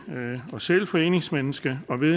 og selv foreningsmenneske og ved